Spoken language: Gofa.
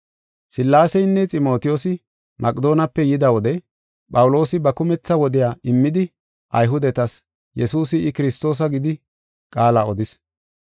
Sillaaseynne Ximotiyoosi Maqedoonepe yida wode Phawuloosi ba kumetha wodiya immidi Ayhudetas Yesuusi I, Kiristoosa gidi qaala odis.